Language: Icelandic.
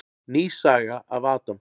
Ný saga af Adam.